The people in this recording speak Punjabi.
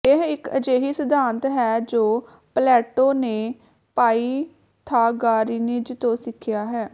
ਇਹ ਇੱਕ ਅਜਿਹੀ ਸਿਧਾਂਤ ਹੈ ਜੋ ਪਲੇਟੋ ਨੇ ਪਾਇਥਾਗਾਰਾਇਨਜ਼ ਤੋਂ ਸਿੱਖਿਆ ਹੈ